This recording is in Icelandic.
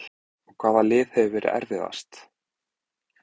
Og hvaða lið hefur verið erfiðast?